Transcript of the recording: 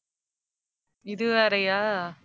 இது வேறயா?